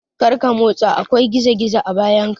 Kada ka motsa! akwai gizo-gizo a bayanka.